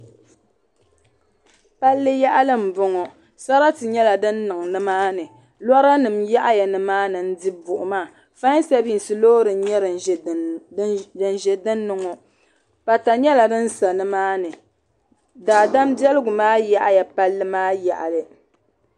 palli yaɣili m-bɔŋɔ sarati nyɛla din niŋ ni maa ni lɔra nima yaɣi ya ni maa ni n-di buɣima faai sabisi loori n-nyɛ din ʒe din ni ŋɔ pata nyɛla din sa ni maa ni daadam biɛligu maa yaɣi ya palli maa yaɣili.